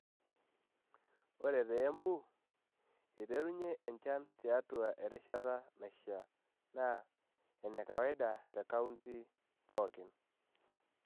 Ore te Embu, eiterunye enchan tiatua erishata naishiaa naa ene kawaida te kaunti pookin.